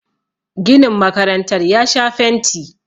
ginin makarantar ya Sha fenti